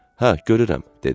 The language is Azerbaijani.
Hə, görürəm, dedi.